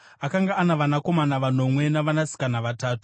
Akanga ana vanakomana vanomwe navanasikana vatatu,